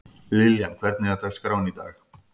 Liljan, hvernig er dagskráin í dag?